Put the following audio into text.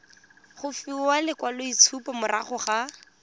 go fiwa lekwaloitshupo morago ga